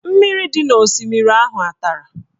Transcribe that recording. Mmiri dị n'osimiri ahụ a tara?